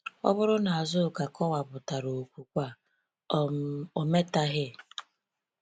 Ọ bụrụ na Azuka kọwpụtara okwukwe a, um ometaghị.